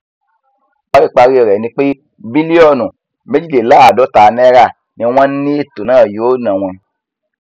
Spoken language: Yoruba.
paríparí rẹ ni pé bílíọnù méjìléláàádọta náírà ni wọn ní ètò náà yóò ná wọn